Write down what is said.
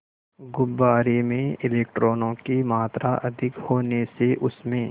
गुब्बारे में इलेक्ट्रॉनों की मात्रा अधिक होने से उसमें